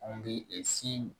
An bɛ si